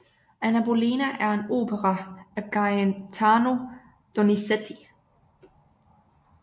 Anna Bolena er en opera af Gaetano Donizetti